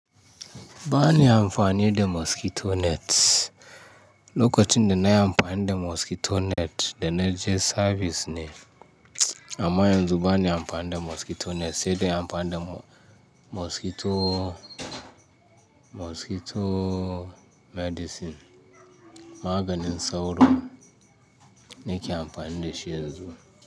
Ba ni amfani da mosquito net. Lokacin da na yi amfani da mosquito net da na je service ne. Amma yanzu ba ni amfani da mosquito net sai dai amfani da mosquito, mosquito medicine. Maganin sauro na ke amfani da shi yanzu.